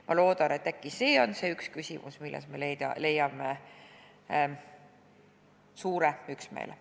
Ma loodan, et äkki see on see küsimus, milles me leiame suure üksmeele.